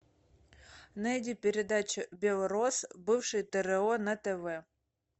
найди передачу белрос бывший тро на тв